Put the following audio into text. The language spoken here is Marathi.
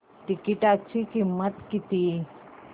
तिकीटाची किंमत किती